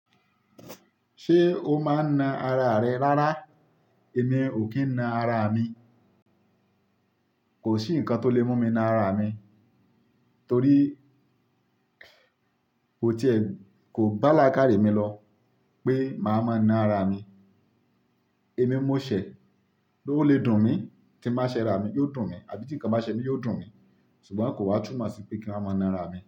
Ṣé o máa ń na ara rẹ rárá? Èmi ò kí ń na ara mi. Kò sí ǹkan tó lè mú mi na ara mi torí kò te kò bá làákàrí mi lọ pé màá máa na ara mi. Èmi mú ṣẹ̀, bó ó le dùn mí tí màá ṣẹ̀ ara mi, yóò dùn mí, àbí tí ǹkan bá ṣẹ mí yóò dùn mí. Ṣùgbọ́n kò wá túmọ̀ sí pé kí n wà máa na ara mi.